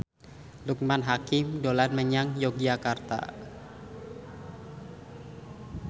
Loekman Hakim dolan menyang Yogyakarta